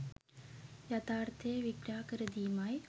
යථාර්ථය විග්‍රහ කර දීමයි.